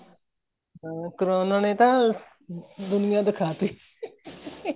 ਹਾਂ ਕਰੋਨਾ ਨੇ ਤਾਂ ਦੁਨੀਆ ਦਿਖਾਤੀ